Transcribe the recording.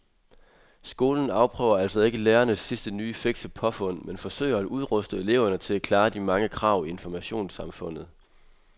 Skolen afprøver altså ikke lærernes sidste nye fikse påfund men forsøger at udruste eleverne til at klare de mange krav i informationssamfundet.